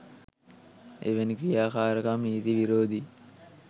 එවැනි ක්‍රියාකාරකම් නීති විරෝධී